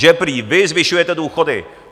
Že prý vy zvyšujete důchody.